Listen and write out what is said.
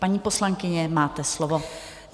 Paní poslankyně, máte slovo.